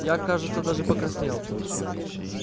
я кажется даже покраснел